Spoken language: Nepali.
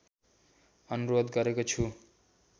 अनुरोध गरेको छु